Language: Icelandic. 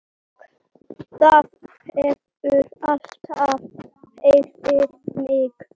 Það hefur alltaf hrifið mig.